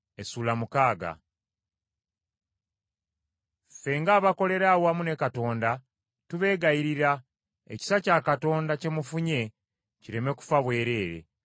Ffe ng’abakolera awamu ne Katonda, tubeegayirira, ekisa kya Katonda kye mufunye, kireme kufa bwereere.